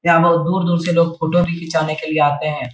यहाँ बहुत दूर-दूर से लोग फोटो भी खींचाने के लिए आते हैं।